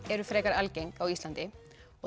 eru frekar algeng á Íslandi og